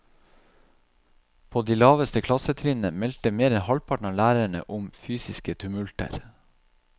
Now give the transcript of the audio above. På de laveste klassetrinnene meldte mer enn halvparten av lærerne om fysiske tumulter.